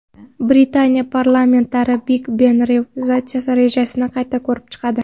Britaniya parlamentariylari Big-Ben restavratsiyasi rejasini qayta ko‘rib chiqadi.